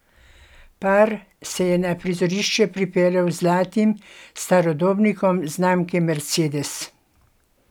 Par se je na prizorišče pripeljal z zlatim starodobnikom znamke Mercedes.